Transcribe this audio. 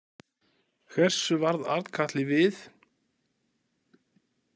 Hversu varð Arnkatli við?